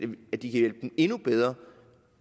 at vi kan hjælpe dem endnu bedre